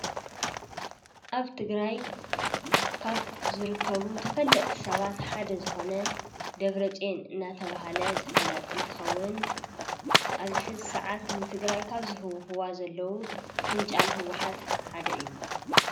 ኣብ ትግራይ ካብ ዝርከቡ ተፈለጥቲ ሰባት ሓደ ዝኾነ ደብረፅዮን እንዳተባሃለ ዝፍለጥ እንትኸውን ኣብዚ ሕዚ ሰዓት ንትግራይ ካብ ዝህውኽዋ ዘለው ፊንጫል ህወሓት ሓደ እዩ፡፡